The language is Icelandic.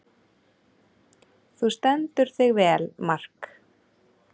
Þú stendur þig vel, Mark!